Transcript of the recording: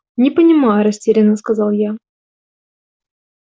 не понимаю растерянно сказал я